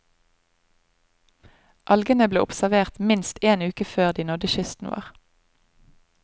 Algene ble observert minst én uke før de nådde kysten vår.